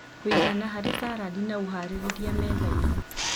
kũigana harĩ sarandi na ũharĩrĩria metha-inĩ.